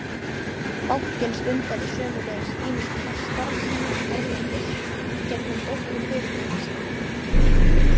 Bankinn stundaði sömuleiðis ýmis konar starfsemi erlendis í gegnum dótturfyrirtæki sín.